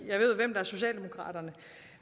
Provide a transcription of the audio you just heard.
jeg ved hvem socialdemokraterne